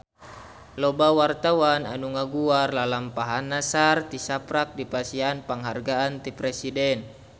Loba wartawan anu ngaguar lalampahan Nassar tisaprak dipasihan panghargaan ti Presiden